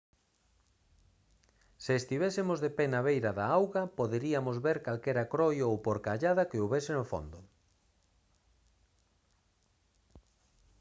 se estivésemos de pé na beira da auga poderiamos ver calquera croio ou porcallada que houbese no fondo